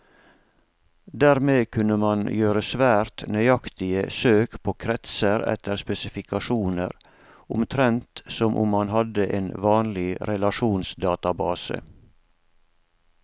Dermed kunne man gjøre svært nøyaktige søk på kretser etter spesifikasjoner, omtrent som om man hadde en vanlig relasjonsdatabase.